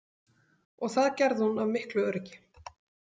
Og það gerði hún af miklu öryggi.